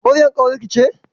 Maryam ƙawarki ce?